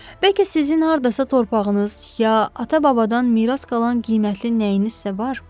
Bəlkə sizin hardasa torpağınız ya atabababdan miras qalan qiymətli nəyinizsə var?